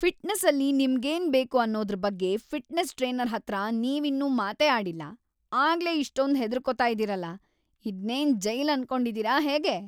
ಫಿಟ್ನೆಸ್ಸಲ್ಲಿ ನಿಮ್ಗೇನ್‌ ಬೇಕು ಅನ್ನೋದ್ರ್‌ ಬಗ್ಗೆ ಫಿಟ್ನೆಸ್ ಟ್ರೇನರ್‌ ಹತ್ರ ನೀವಿನ್ನೂ ಮಾತೇ ಆಡಿಲ್ಲ, ಆಗ್ಲೇ ಇಷ್ಟೊಂದ್‌ ಹೆದ್ರುಕೊತಾ ಇದೀರಲ! ಇದ್ನೇನ್‌ ಜೈಲ್‌ ಅನ್ಕೊಂಡಿದೀರ ಹೇಗೆ?!